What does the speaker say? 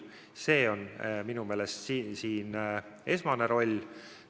See on minu meelest esmane roll.